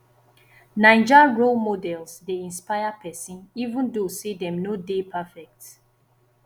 naija role models dey inspire pesin even though say dem no dey perfect